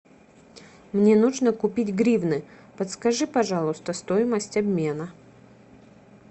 мне нужно купить гривны подскажи пожалуйста стоимость обмена